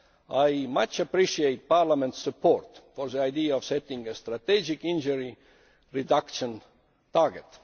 I very much appreciate Parliament's support for the idea of setting a strategic injury reduction target.